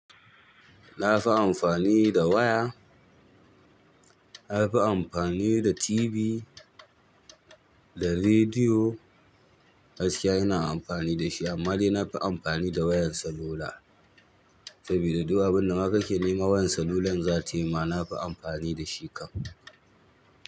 Na fi amfani da waya, na fi amfani da TV da rediyo gaskiya ina amfani da shi amma dai na fi amfani da wayan salula saboda du'a abin da maka ke nema wayan salulan za ta yi ma na fi amfani da shi kam.